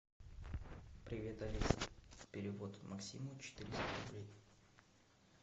привет алиса перевод максиму четыреста рублей